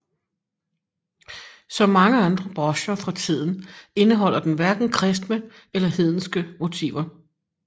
Som mange andre brocher fra tiden indeholder den hverken kristne eller hedenske motiver